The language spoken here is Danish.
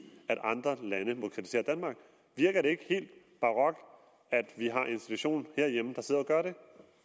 at andre lande må kritisere danmark virker det ikke helt barokt at vi har en institution herhjemme der sidder og gør det